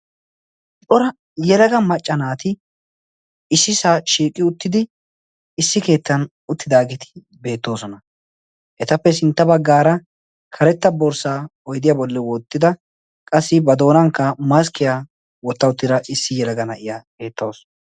xora yelaga maccanaati issi saa shiiqi uttidi issi keettan uttidaagiiti beettoosona etappe sintta baggaara karetta borssaa oidiyaa bolli woottida qassi ba doonankka maskkiyaa wottauttiira issi yelaga na7iya beettausu